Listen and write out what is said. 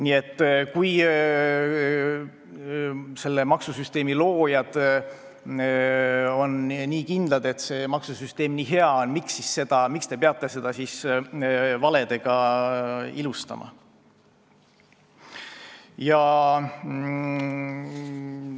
Nii et kui selle maksusüsteemi loojad on kindlad, et see maksusüsteem nii hea on, miks peab seda siis valedega ilustama?